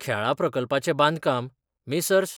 खेळां प्रकल्पाचे बांदकाम मेसर्स्.